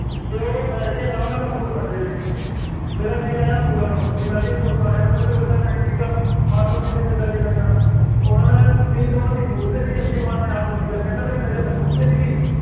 ਅਤੇ ਉਹ ਬੈਠ ਕੇ ਆਰਾਮ ਨਾਲ ਅੰਗੂਰ ਖਾਂਦੇ ਪਏ ਸੀਗੇ, ਮੇਰਾ ਦਿਲ ਆਇਆ ਅੰਗੂਰਾਂ ਨੂੰ, ਬਈ ਮੈਂ ਵੀ ਅੰਗੂਰ ਖਾਣੇ ਆ, ਤੁਹਾਨੂੰ ਪਤਾ ਜਦ ਤਾਂ time ਸੀਗਾ, ਖਾਣ ਨੂੰ ਕਿੱਥੇ ਮਿਲਦਾ ਸੀਗਾ ਐਨਾ,